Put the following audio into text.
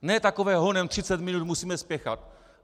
Ne takové honem, 30 minut, musíme spěchat.